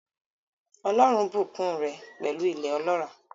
Ọlọ́run bùkún un rẹ̀ pẹ̀lú ilẹ̀ ọlọ́ràá.